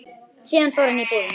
Síðan fór hann upp í íbúðina.